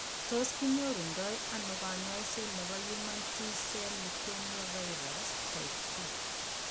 Tos kinyoru ndo ano kanyaiset nebo human T cell leukemia virus, type 2?